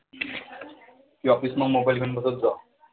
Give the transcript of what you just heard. की office मध्ये mobile घेऊन बसत जा.